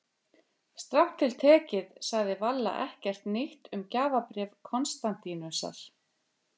Strangt til tekið sagði Valla ekkert nýtt um gjafabréf Konstantínusar.